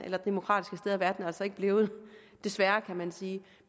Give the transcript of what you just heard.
og demokratisk er verden altså ikke blevet desværre kan man sige